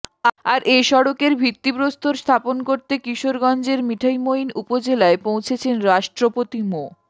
আর এ সড়কের ভিত্তিপ্রস্তর স্থাপন করতে কিশোরগঞ্জের মিঠামইন উপজেলায় পৌঁছেছেন রাষ্ট্রপতি মো